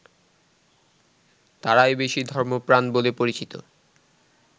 তারাই বেশি ধর্মপ্রাণ বলে পরিচিত